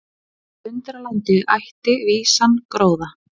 Undralandi ætti vísan gróða.